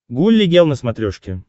гулли гел на смотрешке